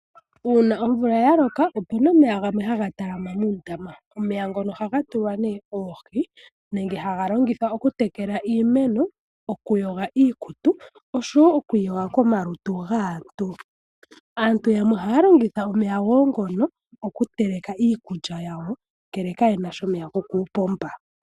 Uuna omvula ya loka opu na omeya gamwe haga talama muundama. Omeya ngono ohaga tulwa nee oohi nenge haga longithwa okutekela iimeno, okuyoga iikutu osho wo oku iyoga komalutu gaantu. Aantu yamwe ohaya longitha omeya wo ngono okuteleka iikulya yawo, ngele kaye na sha omeya gokuupomba.